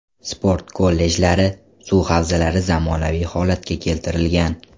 Sport kollejlari, suv havzalari zamonaviy holatga keltirilgan.